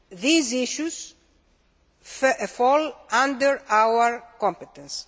These issues fall under our competence.